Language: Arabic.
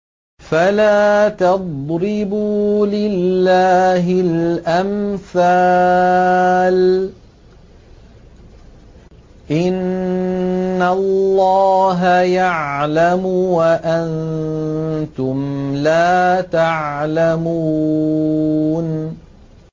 فَلَا تَضْرِبُوا لِلَّهِ الْأَمْثَالَ ۚ إِنَّ اللَّهَ يَعْلَمُ وَأَنتُمْ لَا تَعْلَمُونَ